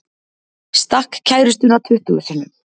Stakk kærustuna tuttugu sinnum